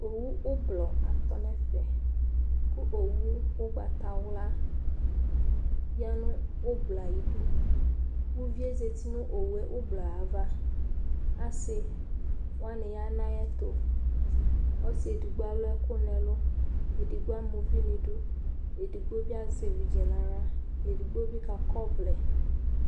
Owu ʋblɔ atɔ nʋ ɛfɛ kʋ owu ʋgbatawla ya nʋ ʋblɔ yɛ ayɩdu Uvi yɛ zati nʋ owu yɛ ʋblɔ yɛ ava Asɩ wanɩ ya nʋ ayɛtʋ Ɔsɩ edigbo alʋ ɛkʋ nʋ ɛlʋ Edigbo ama uvi nʋ idu Edigbo bɩ azɛ evidze nʋ aɣla Edigbo bɩ kakɔ ɔvlɛ